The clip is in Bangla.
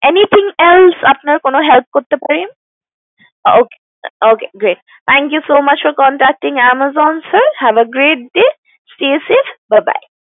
Anything else আপনার কোনো হেল্প করতে পারি ok ok great thank You so much for contacting Amazon sir have a great day stay safe Bye Bye